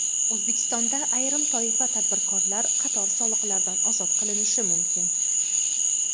O‘zbekistonda ayrim toifa tadbirkorlar qator soliqlardan ozod qilinishi mumkin.